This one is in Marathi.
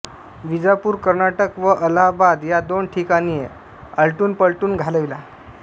विजापूर कर्नाटक व अलाहाबाद या दोन ठिकाणी आलटूनपालटून घालविला